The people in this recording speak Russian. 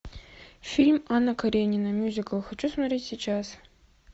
фильм анна каренина мюзикл хочу смотреть сейчас